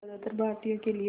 ज़्यादातर भारतीयों के लिए